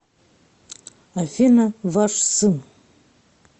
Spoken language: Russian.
афина ваш сын